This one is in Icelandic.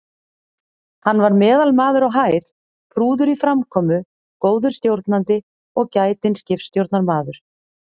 Hann var meðalmaður á hæð, prúður í framkomu, góður stjórnandi og gætinn skipstjórnarmaður.